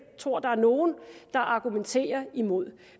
tror at der er nogen der argumenterer imod